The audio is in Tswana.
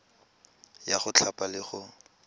ya go thapa le go